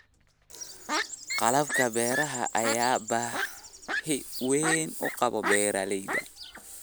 Qalabka beeraha ayaa baahi weyn u qaba beeralayda.